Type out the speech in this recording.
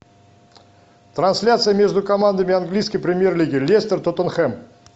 трансляция между командами английской премьер лиги лестер тоттенхэм